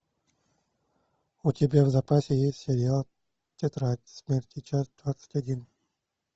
у тебя в запасе есть сериал тетрадь смерти часть двадцать один